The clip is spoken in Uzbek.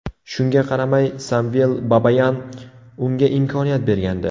Shunga qaramay Samvel Babayan unga imkoniyat bergandi.